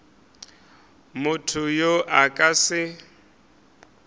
motho yo a ka se